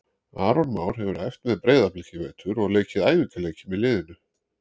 Aron Már hefur æft með Breiðablik í vetur og leikið æfingaleiki með liðinu.